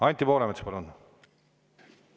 Anti Poolamets, palun!